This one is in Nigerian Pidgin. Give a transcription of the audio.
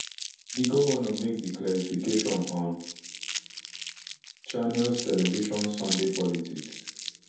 di govnor make di clarification on channels television sunday politics